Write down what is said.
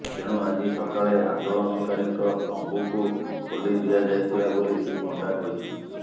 ତେଣୁ ଆଜି ସକାଳେ ଆନ୍ଦୋଳନକାରୀଙ୍କ ତମ୍ବୁକୁ ଖୋଲି ଦିଆଯାଇଥିଲା ବୋଲି ଶ୍ରୀ ପଣ୍ଡା କହିଛନ୍ତି